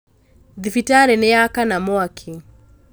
thibitarĩ nĩyakana mwaki